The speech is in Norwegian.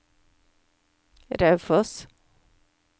Raufoss